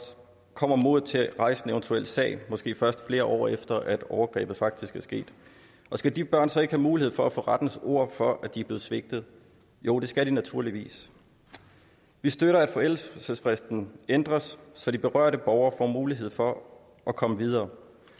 kommer modet til at rejse en eventuel sag måske først flere år efter at overgrebet faktisk er sket og skal de børn så ikke have mulighed for at få rettens ord for at de blev svigtet jo det skal de naturligvis vi støtter at forældelsesfristen ændres så de berørte borgere får mulighed for at komme videre